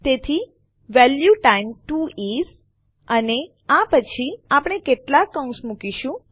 તેથી value times 2 is અને આ પછી આપણે કેટલાક કૌંસ મુકીશું